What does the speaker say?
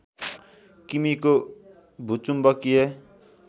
किमीको भूचुम्बकीय